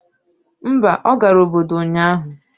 Mba, ọ gara obodo ụnyahụ.